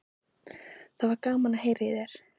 Það var gaman að heyra í þér.